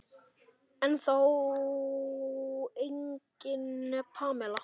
Ennþá engin Pamela.